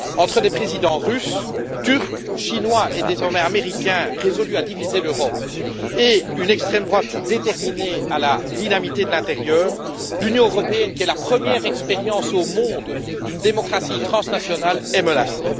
Entre les présidents russe, turc, chinois et désormais américain résolus à diviser l'Europe et une extrême droite déterminée à la dynamiter de l'intérieur, l'Union européenne, à savoir la première expérience au monde de démocratie transnationale, est menacée.